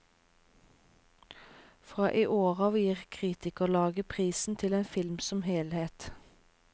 Fra i år av gir kritikerlaget prisen til en film som helhet.